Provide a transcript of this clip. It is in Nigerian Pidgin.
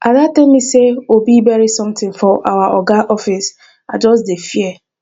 ada tell me say obi bury something for our oga office and i just dey fear